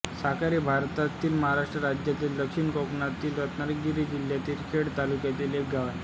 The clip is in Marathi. साखर हे भारतातील महाराष्ट्र राज्यातील दक्षिण कोकणातील रत्नागिरी जिल्ह्यातील खेड तालुक्यातील एक गाव आहे